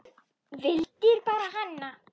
Vildir bara hana.